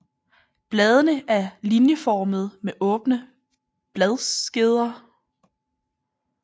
Bladene er linjeformede med åbne bladskeder